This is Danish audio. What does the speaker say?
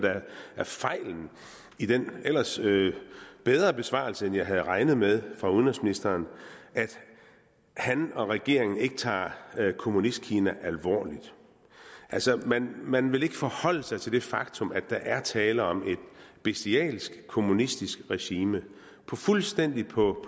er fejlen i den ellers bedre besvarelse end jeg havde regnet med fra udenrigsministeren at han og regeringen ikke tager kommunistkina alvorligt altså man vil ikke forholde sig til det faktum at der er tale om et bestialsk kommunistisk regime fuldstændig på